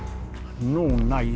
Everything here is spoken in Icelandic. nú næ ég